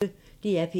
DR P1